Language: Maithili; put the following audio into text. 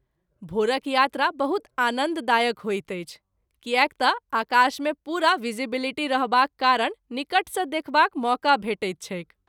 भोरक यात्रा बहुत आनन्द दायक होइत अछि कियाक त’ आकाश मे पूरा भीजिवलीटी रहबाक कारण निकट सँ देखबाक मौका भेटैत छैक।